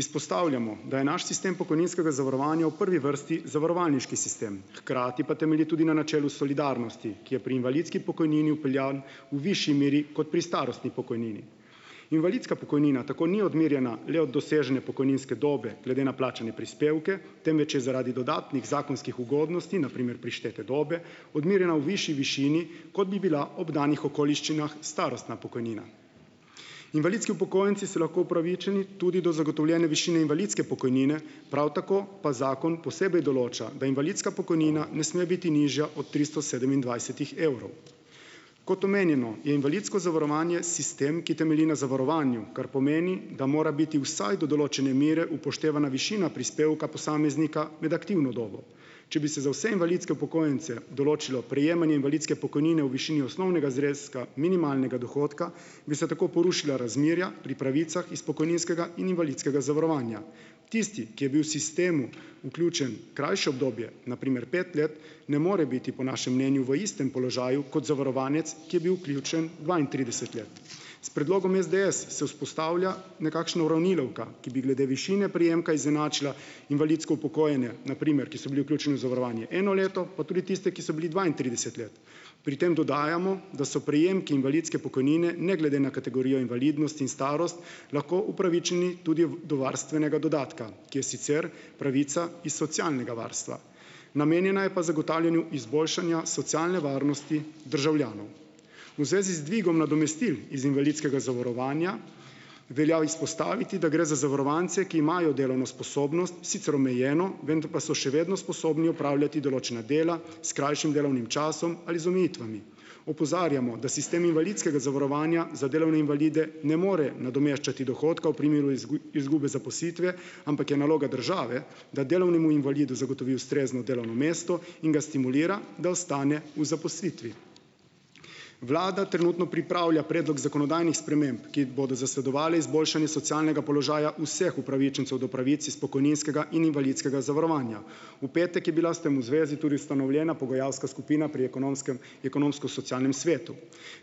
Izpostavljamo, da je naš sistem pokojninskega zavarovanja v prvi vrsti zavarovalniški sistem, hkrati pa temelji tudi na načelu solidarnosti, ki je pri invalidski pokojnini vpeljan v višji meri kot pri starostni pokojnini. Invalidska pokojnina tako ni odmerjena le od dosežene pokojninske dobe glede na plačane prispevke, temveč je zaradi dodatnih zakonskih ugodnosti, na primer prištete dobe, odmerjena v višji višini, kot bi bila ob danih okoliščinah starostna pokojnina. Invalidski upokojenci so lahko upravičeni tudi do zagotovljene višine invalidske pokojnine, prav tako pa zakon posebej določa, da invalidska pokojnina ne sme biti nižja od tristo sedemindvajsetih evrov. Kot omenjeno, je invalidsko zavarovanje sistem, ki temelji na zavarovanju, kar pomeni, da mora biti vsaj do določene mere upoštevana višina prispevka posameznika med aktivno dobo. Če bi se za vse invalidske upokojence določilo prejemanje invalidske pokojnine v višini osnovnega zneska minimalnega dohodka, bi se tako porušila razmerja pri pravicah iz pokojninskega in invalidskega zavarovanja. Tisti, ki je bil sistemu vključen krajše obdobje, na primer pet let, ne more biti, po našem mnenju, v istem položaju kot zavarovanec, ki je bil vključen dvaintrideset let . S predlogom SDS se vzpostavlja nekakšna uravnilovka, ki bi glede višine prejemka izenačila invalidsko upokojenje, na primer, ki so bili vključeni v zavarovanje eno leto, pa tudi tiste, ki so bili dvaintrideset let. Pri tem dodajamo, da so prejemki invalidske pokojnine, ne glede na kategorijo invalidnosti in starost, lahko upravičeni tudi do varstvenega dodatka, ki je sicer pravica iz socialnega varstva. Namenjena je pa zagotavljanju izboljšanja socialne varnosti državljanov. V zvezi z dvigom nadomestil iz invalidskega zavarovanja velja izpostaviti, da gre za zavarovance, ki imajo delovno sposobnost, sicer omejeno, vendar pa so še vedno sposobni opravljati določena dela s krajšim delovnim časom ali z omejitvami. Opozarjamo, da sistem invalidskega zavarovanja za delovne invalide ne more nadomeščati dohodka v primeru izgube zaposlitve, ampak je naloga države, da delovnemu invalidu zagotovi ustrezno delovno mesto in ga stimulira, da ostane v zaposlitvi. Vlada trenutno pripravlja predlog zakonodajnih sprememb, ki jih bodo zasledovale izboljšanje socialnega položaja vseh upravičencev do pravic iz pokojninskega in invalidskega zavarovanja. V petek je bila s tem v zvezi tudi ustanovljena pogajalska skupina pri Ekonomskem, ekonomsko-socialnem svetu.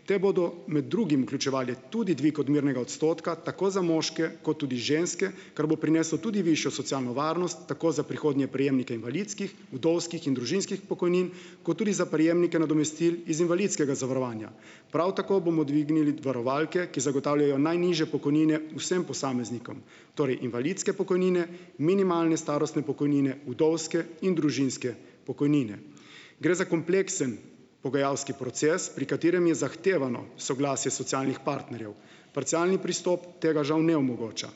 Te bodo med drugim vključevale tudi dvig odmernega odstotka tako za moške kot tudi za ženske, kar bo prineslo tudi višjo socialno varnost, tako za prihodnje prejemnike invalidskih, vdovskih in družinskih pokojnin kot tudi za prejemnike nadomestil iz invalidskega zavarovanja. Prav tako bomo dvignili varovalke, ki zagotavljajo najnižje pokojnine vsem posameznikom, torej invalidske pokojnine, minimalne starostne pokojnine, vdovske in družinske pokojnine. Gre za kompleksen pogajalski proces, pri katerem je zahtevano soglasje socialnih partnerjev. Parcialni pristop tega, žal, ne omogoča.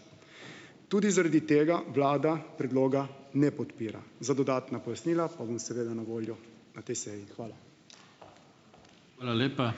Tudi zaradi tega vlada predloga ne podpira. Za dodatna pojasnila pa bom seveda na voljo na tej seji. Hvala. Hvala lepa.